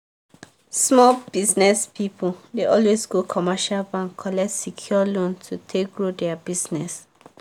small business people dey always go commercial bank collect secured loan to take grow their business.